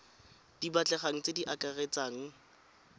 di batlegang tse di akaretsang